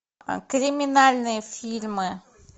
криминальные фильмы